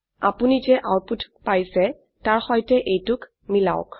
আপোনি যে আউটপুট পাচ্ইছে তাৰ সৈতে এইটোক মিলাওক